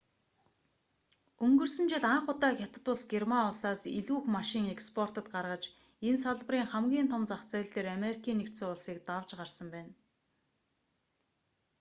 өнгөрсөн жил анх удаа хятад улс герман улсаас илүү их машин экспортод гаргаж энэ салбарын хамгийн том зах зээл дээр америкийн нэгдсэн улсыг давж гарсан байна